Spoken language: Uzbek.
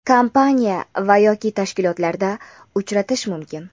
kompaniya va yoki tashkilotlarda uchratish mumkin.